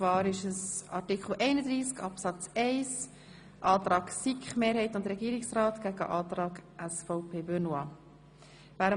Wir stellen den Antrag SiK-Mehrheit und Regierungsrat dem Antrag SVP Benoit gegenüber.